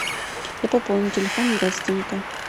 я пополню телефон родственника